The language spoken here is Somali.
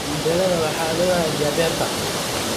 Tendela waxaa loo hagaajiyay beerta.